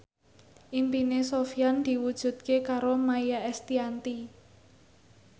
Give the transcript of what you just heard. impine Sofyan diwujudke karo Maia Estianty